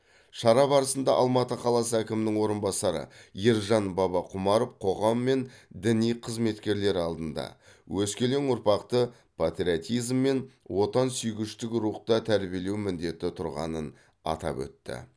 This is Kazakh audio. шара барысында алматы қаласы әкімінің орынбасары ержан бабақұмаров қоғам мен діни қызметкерлер алдында өскелең ұрпақты патриотизм мен отансүйгіштік рухта тәрбиелеу міндеті тұрғанын атап өтті